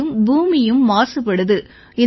மேலும் பூமியும் மாசுபடுது